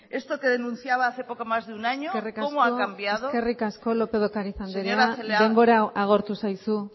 esto que denunciaba hace poco más de un año cómo ha cambiado señora celaá eskerrik asko lópez de ocariz andrea denbora agortu zaizu